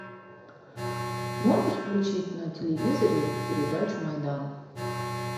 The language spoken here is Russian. можешь включить на телевизоре передачу майдан